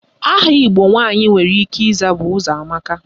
Aha Igbo nwaanyị nwere ike ịza bụ Ụzọamaka.